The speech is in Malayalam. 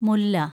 മുല്ല